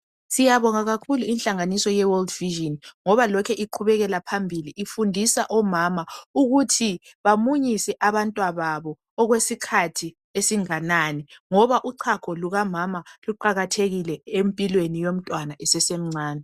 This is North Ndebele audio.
Siyabonga kakhulu inhlanganiso ye"world vision" ngoba lokhe iqhubekela phambili ifundisa omama ukuthi bamunyise abantwa babo okwesikhathi esinganani ngoba uchago lukamama luqakathekile empilweni yomntwana esemncane.